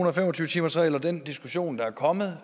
og fem og tyve timersreglen og den diskussion der er kommet